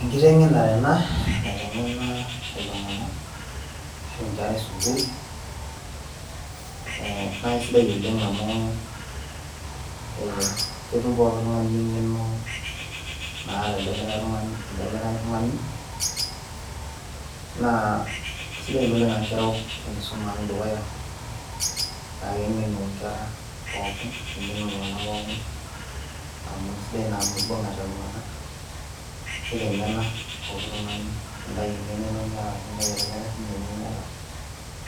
enkitengenare ena naitengena iltunganak ashu nkera esukuul, naa aisidai oleng amu ketum pooki tungani eng'eno, naata elde likae tung'ani, naa kisidai ina oleng amu kereu enkisuma ang' dukuya naa keng'enu nkera pookin, nengenu iltunganak pookin, naa kisidai ina amu ibungate iltunganak. neitengena pooki tungani, nintayu engeno niata, nitayu ele likae eniata